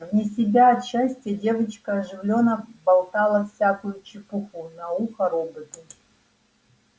вне себя от счастья девочка оживлённо болтала всякую чепуху на ухо роботу